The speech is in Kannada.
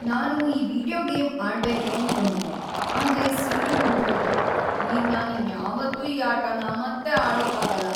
ನಾನು ಈ ವೀಡಿಯೊ ಗೇಮ್‌ ಆಡ್ಬೇಕು ಅನ್ಕೊಂಡಿದ್ದೆ, ಆದ್ರೆ ಸಿ.ಡಿ. ಮುರ್ದ್‌ಹೋಯ್ತು. ಈಗ ನಾನ್ ಇನ್ಯಾವತ್ತೂ ಈ ಆಟನ ಮತ್ತೆ ಆಡೋಕಾಗಲ್ಲ.